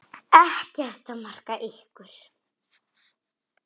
Ekkert er að marka ykkur.